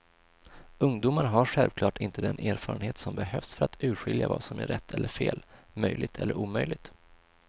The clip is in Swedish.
Ungdomar har självklart inte den erfarenhet som behövs för att urskilja vad som är rätt eller fel, möjligt eller omöjligt.